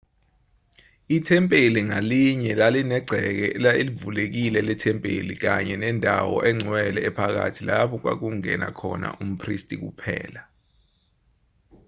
ithempeli ngalinye lalinegceke elivulekile lethempeli kanye nendawo engcwele ephakathi lapho kwakungena khona umphristi kuphela